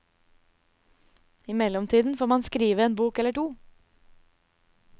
I mellomtiden får man skrive en bok eller to.